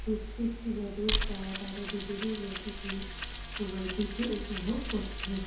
প্রত্যেকটি মানুষ তারা তাদের নিজেদের মতো করে সময়টিকে উপভোগ করছেন ।